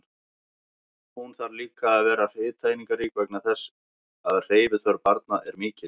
Hún þarf líka að vera hitaeiningarík vegna þess að hreyfiþörf barna er mikil.